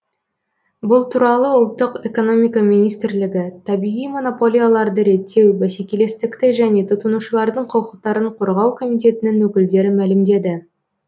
бұл туралы ұлттық экономика министрлігі табиғи монополияларды реттеу бәсекелестікті және тұтынушылардың құқықтарын қорғау комитетінің өкілдері мәлімдеді